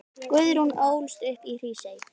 Guðrún ólst upp í Hrísey.